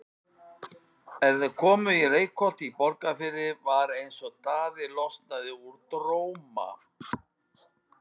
Er þeir komu í Reykholt í Borgarfirði var eins og Daði losnaði úr dróma.